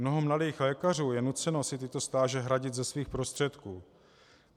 Mnoho mladých lékařů je nuceno si tyto stáže hradit ze svých prostředků.